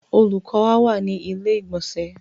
Olùkọ́ wa wà ní ilé ìgbònsẹ̀